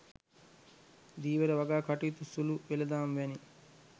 ධීවර වගා කටයුතු සුලු වෙළඳාම් වැනි